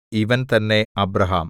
ഇവൻ തന്നെ അബ്രാഹാം